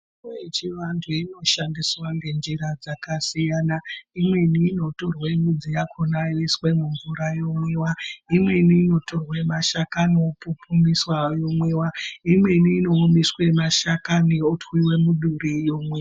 Mitombo yechivantu inoshandiswa ngenjira dzakasiyana imweni inotorwe midzi yakona yoiswe mumvura yomwiwa , imweni unotorwe mashakani opupumiswa yomwiwa , imweni inoomeswe mashakani otwiwe muduri yomwiwa.